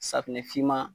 Safunɛ finman